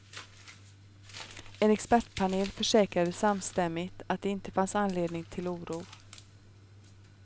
En expertpanel försäkrade samstämmigt att det inte fanns anledning till oro.